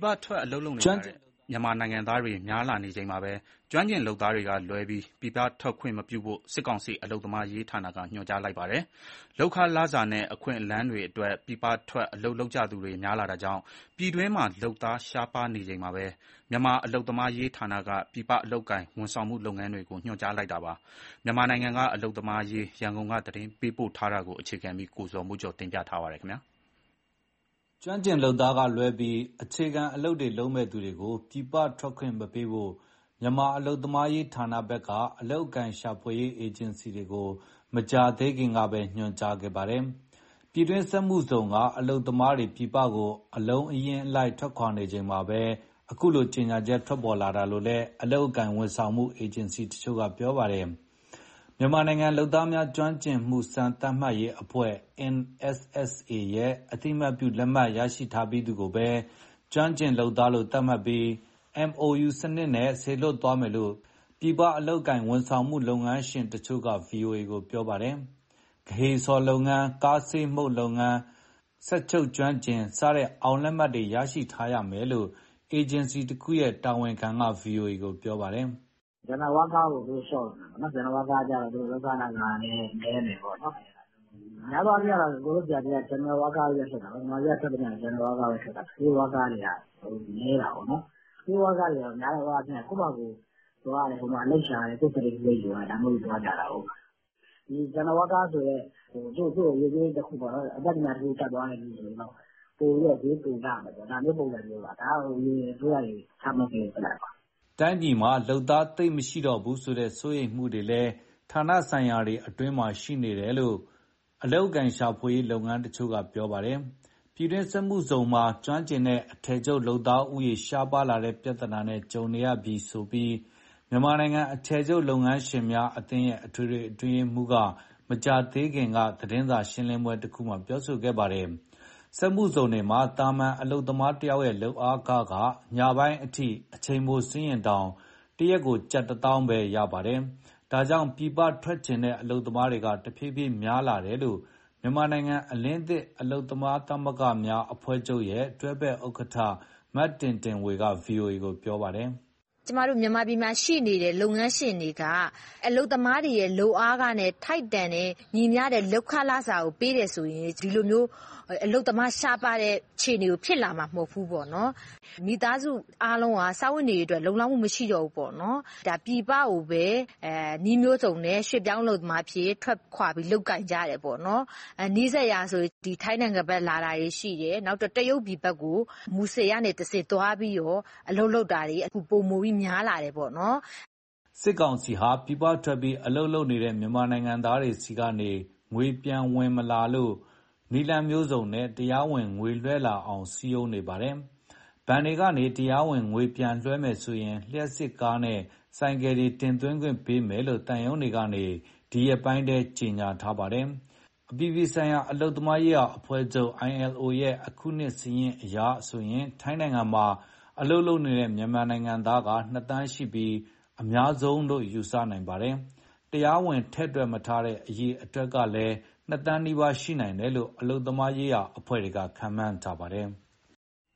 ပထွက် အလုပ်လုပ်ကြတဲ့ မြန်မာနိုင်ငံသားတွေ များလာနေချိန်မှာပဲ ကျွမ်းကျင်လုပ်သားကလွဲပြီး ပြည်ပထွက်ခွင့်မပြုဖို့ စစ်ကောင်စီ အလုပ်သမားရေးဌာနက ညွှန်ကြားလိုက်ပါတယ်။ လုပ်ခလစာနဲ့ အခွင့်အလမ်းတွေအတွက် ပြည်ပထွက် အလုပ်လုပ်ကြသူတွေ များလာတာကြောင့် ပြည်တွင်းမှာ လုပ်သားရှားပါးနေချိန်မှာပဲ မြန်မာအလုပ်သမားရေးဌာနက ပြည်ပအလုပ်အကိုင် ဝန်ဆောင်မှုလုပ်ငန်းတွေကို ညွှန်ကြားလိုက်တာပါ။ မြန်မာနိုင်ငံ အလုပ်သမားအရေး ရန်ကုန်က သတင်းပေးပို့ထားပါတယ်။ ကျွမ်းကျင်လုပ်သားကလွဲပြီး အခြေခံအလုပ်တွေလုပ်မဲ့ သူတွေကို ပြည်ပထွက်ခွင့် မပေးဖို့ မြန်မာ အလုပ်သမားရေးဌာနဘက်က အလုပ်အကိုင်ရှာဖွေရေး အေဂျင်စီတွေကို မကြာသေးခင်ပဲ ညွှန်ကြားလိုက်တာ ဖြစ်ပါတယ်။ ပြည်တွင်းစက်မှုဇုံက အလုပ်သမားတွေ ပြည်ပကို အလုံးအရင်းလိုက် ထွက်ခွာနေချိန်မှာပဲ အခုကြေညာချက် ထွက်ပေါ်လာတာလို့လည်း အလုပ်အကိုင် ဝန်ဆောင်မှု အေဂျင်စီတချို့က ပြောပါတယ်။ မြန်မာနိုင်ငံလုပ်သားများ ကျွမ်းကျင်မှု စံသတ်မှတ်ရေးအဖွဲ့ ရဲ့ အသိအမှတ်ပြုလက်မှတ် ရထားပြီးသူကိုပဲ ကျွမ်းကျင်လုပ်သားလို့ သတ်မှတ်ပြီး MoUစနစ်နဲ့ စေလွှတ်သွားမယ်လို့ ပြည်ပအလုပ်အကိုင် ဝန်ဆောင်မှု လုပ်ငန်းရှင်တချို့က ဗွီအိုအေကို ပြောပါတယ်။ ဂဟေဆော်လုပ်ငန်း၊ ကားဆေးမှုတ်လုပ်ငန်း၊ စက်ချုပ်ကျွမ်းကျင် စတဲ့ အောင်လက်မှတ်တွေ ရထားရမယ်လို့ အေဂျင်စီတခုရဲ့ တာဝန်ခံက ဗွီအိုအေကို ပြောပါတယ်။ "General worker ကို သူတို့လျှော့တော့မယ်ပေါ့နော်၊ general worker က လုပ်ခလစာလည်း နည်းမယ်ပေါ့နော်။ များသောအားဖြင့် ကိုယ်တို့ဆီက gereral worker ပဲ လွှတ်တာကိုး၊ မြန်မာပြည်က ထွက်သမျှ general worker ပဲထွက်တာ။ skilled worker တွေက နည်းတာပေါ့။ skilled worker တွေက များသောအာဖြင့် ကိုယ့်ဖာကိုယ်သွားတယ်၊ ဟိုမှာအလုပ်ရှာတယ်၊ ကိုယ့် certificate ကိုယ်ယူသွားတယ် ဒါမျိုးတွေ သွားကြတာကိုး။ general woker က အတတ်ပညာတခုခု တတ်သွားရင် ပိုပြီး ဈေးပိုရမယ်ပေါ့။ ဒါမျိုးပုံစံမျိုးပါ။ ဒါက အရင်အစိုးရတွေ ချမှတ်ခဲ့တဲ့ plan ပါ။" တိုင်းပြည်မှာ လုပ်သားသိပ်မရှိတော့ဘူးဆိုတဲ့ စိုးရိမ်မှုတွေလည်း ဌာနဆိုင်ရာအတွင်းမှာ ရှိနေကြောင်း အေဂျင်စီတချို့က ပြောပါတယ်။ ပြည်တွင်းစက်မှုဇုံတွေမှာ ကျွမ်းကျင်တဲ့ အထည်ချုပ်လုပ်သားဦးရေ ရှားပါးတဲ့ပြသနာနဲ့ ကြုံနေရပြီဆိုပြီး မြန်မာနိုင်ငံ အထည်ချုပ် လုပ်ငန်းရှင်များအသင်းရဲ့ အထွေထွေ အတွင်းရေးမှူးက မကြာသေးခင်ကလုပ်တဲ့ သတင်းစာရှင်းလင်းပွဲတခုမှာ ပြောခဲ့ပါတယ်။ စက်မှုဇုံတွေမှာ သာမန် အလုပ်သမားတယောက်ရဲ့ လုပ်အားခက ညပိုင်းအထိ အချိန်ပိုဆင်းရင်တောင် တရက်ကို ကျပ် ၁၀,၀၀၀ အထိပဲရပါတယ်။ ဒါကြောင့် ပြည်ပထွက်ချင်တဲ့ အလုပ်သမားတွေ တဖြည်းဖြည်း များလာရတာလို့ မြန်မာနိုင်ငံအလင်းသစ် အလုပ်သမားသမဂ္ဂများ အဖွဲ့ချုပ်ရဲ့ တွဲဖက်ဥက္ကဋ္ဌ မတင်တင်ဝေက ဗွီအိုအေကို ပြောပါတယ်။ "ကျမတို့ မြန်မာပြည်မှာရှိနေတဲ့ လုပ်ငန်းရှင်တွေက အလုပ်သမားတွေရဲ့ လုပ်အားခနဲ့ထိုက်တန်တဲ့၊ ညီမျှတဲ့ လုပ်ခလစာကို ပေးတယ်ဆိုရင် ဒီလိုမျိုး အလုပ်သမားရှားပါးတဲ့ အခြေအနေကို ဖြစ်လာမှာ မဟုတ်ဘူးပေါ့နော်။ မိသားစုအားလုံးက စားဝတ်နေရေးအတွက် လုံလောက်မှု မရှိတော့ဘူးပေါ့နော်။ ပြည်ပကိုပဲ နည်းမျိုးစုံနဲ့ ရွှေ့ပြောင်းလုပ်သားအဖြစ် ထွက်ခွာ လုပ်ကိုင်ကြတယ်ပေါ့။ နီးစပ်ရာဆို ထိုင်းနိုင်ငံဘက်လာတာတွေ ရှိတယ်၊ နောက် တရုတ်ပြည်ကို မူဆယ်ကတဆင့် သွားပြီးတော့ အလုပ်လုပ်တာတွေ အခုပိုမိုပြီး များလာတယ်ပေါ့။" စစ်ကောင်စီဟာ ပြည်ပထွက်ပြီး အလုပ်လုပ်နေတဲ့ မြန်မာနိုင်ငံသာတွေဆီက ငွေပြန်မဝင်လာလို့ နည်းလမ်းမျိုးစုံနဲ့ တရားဝင်ငွေလွှဲလာအောင် စည်းရုံးနေပါတယ်။ ဘဏ်တွေကနေ တရားဝင်ငွေပြန်လွှဲမယ်ဆိုရင် လျှပ်စစ်ကားနဲ့ ဆိုင်ကယ်တွေ တင်သွင်းခွင့်ပေးမယ်လို့ သံရုံးတွေကနေ ဒီရက်ပိုင်းထဲမှာ ကြေညာပေးနေတာပါ။ အပြည်ပြည်ဆိုင်ရာ အလုပ်သမားရေးရာအဖွဲ့ ILO ရဲ့ အခုနှစ်စာရင်းအရဆိုရင် ထိုင်းနိုင်ငံမှာ အလုပ်လုပ်နေတဲ့ မြန်မာအလုပ်သမားက ၂ သန်းရှိပြီး အများဆုံးလို့ ယူဆနိုင်ပါတယ်။ တရားဝင် ထည့်မတွက်ထားတဲ့ အရေအတွက်ကလည်း ၂ သန်းနီးပါး ရှိနိုင်တယ်လို့ အလုပ်သမားရေးရာ အဖွဲ့အစည်းတွေက ခန့်မှန်းထားပါတယ်။